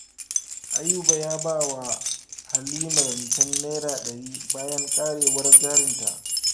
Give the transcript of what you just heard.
Ayuba ya ba wa Halima rancen Naira ɗari bayan karyewar jarinta